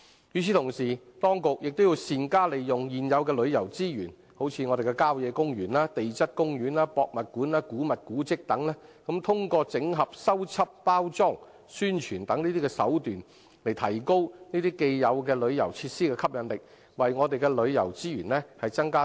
與此同時，當局亦要善用現有的旅遊資源，例如郊野公園、地質公園、博物館、古物古蹟等，通過整合、修葺、包裝、宣傳等手法，提高這些既有旅遊設施的吸引力，為我們的旅遊資源增加新元素。